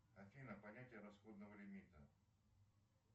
афина понятие расходного лимита